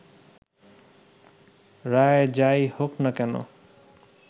রায় যাই হোক না কেন